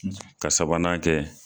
Ka sabanan kɛ.